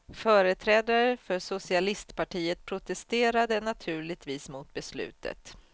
Företrädare för socialistpartiet protesterade naturligtvis mot beslutet.